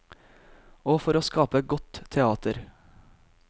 Og for å skape godt teater.